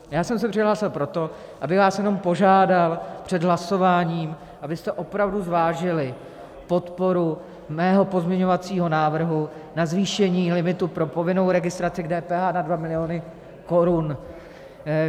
Já jsem se přihlásil proto, abych vás jenom požádal před hlasováním, abyste opravdu zvážili podporu mého pozměňovacího návrhu na zvýšení limitu pro povinnou registraci k DPH na 2 miliony korun.